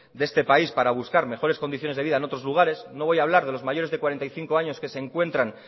de este país para buscar mejores condiciones de vida en otros lugares no voy a hablar de los mayores de cuarenta y cinco años que se encuentran